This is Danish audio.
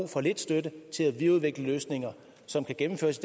for lidt støtte til at videreudvikle løsninger som kan gennemføres